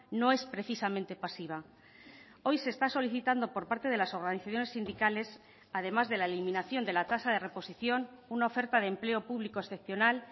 no es precisamente pasiva hoy se está solicitando por parte de las organizaciones sindicales además de la eliminación de la tasa de reposición una oferta de empleo público excepcional